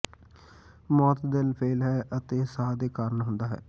ਮੌਤ ਦਿਲ ਫੇਲ੍ਹ ਹੈ ਅਤੇ ਸਾਹ ਦੇ ਕਾਰਨ ਹੁੰਦਾ ਹੈ